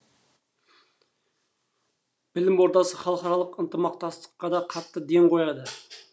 білім ордасы халықаралық ынтымақтастыққа да қатты ден қояды